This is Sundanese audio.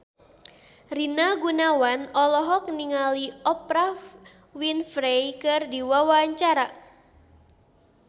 Rina Gunawan olohok ningali Oprah Winfrey keur diwawancara